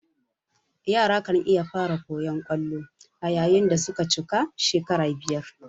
Yara kan iya fara koyan kwallo ayayin dasuka cika shekara biyar